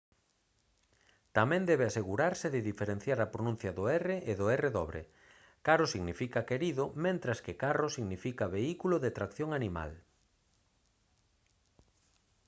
tamén debe asegurarse de diferenciar a pronuncia do r e do rr caro significa querido mentres que carro significa vehículo de tracción animal